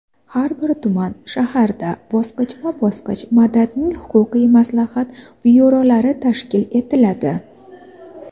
har bir tuman (shahar)da bosqichma-bosqich "Madad"ning huquqiy maslahat byurolari tashkil etiladi.